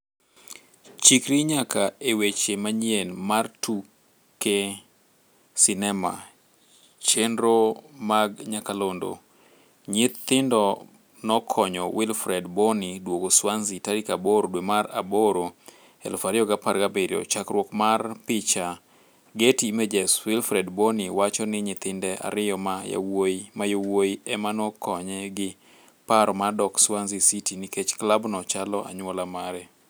Chikri nyaka e weche manyien mar tuke sinema chenro mag nyakalondo Nyithindo nokonyo Wilfried Bony duogo Swansea tarik 8 dwe mar aboro 2017, chakruok mar picha, Getty Images. Wifried Bony wacho ni nyithinde ariyo ma yowuyi emanokonye gi paro mar dok Swansea city nikech klabno "chalo anyuola mare."